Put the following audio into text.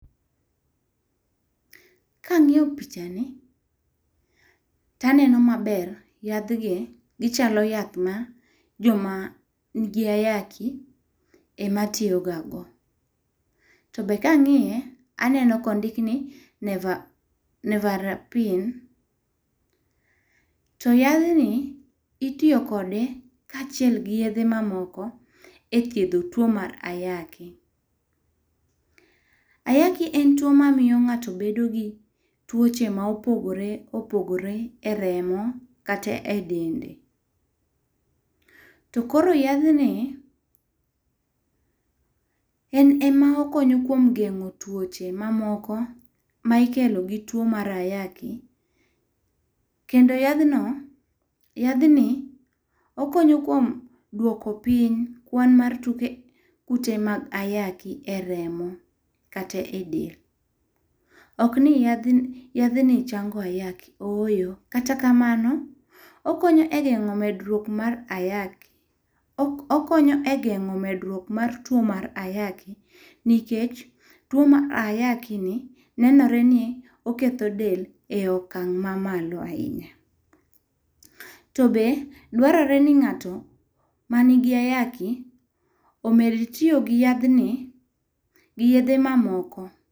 Ka ang'iyo picha ni to aneno ma ber yadh gi, gi chalo jo ma ni gi ayaki ema tiyo ga go. To be ka ang'iye aneno ka ondik ni neva nevarapin to yadh ni itiyo kode kaachiel gi yedhe ma moko e thiedho two mar ayaki. Ayaki en two ma miyo ng'ato bedo gi twoche ma opogore opogore e remo kata be dende to koro yadhni en ema okonyo kuom gengo twoche ma moko ma ikelo gi two mar ayaki kendo yadhno yadhni okonyo kuom dwoko piny kwan mar two mar ayaki e remo kata e del. Ok ni yadhni yadhni chango ayaki, ooyo, kata kamano okonyo e geng'o medruok mar ayaki, okonyo e geng'o medruok mar two mar ayaki nikech two mar ayaki ni nenore ni oketho del e okang' ma malo ahinya. To be dwarore ni ng'ato ma ni gi ayaki omed tiyo gi yadhni gi yedhe ma moko..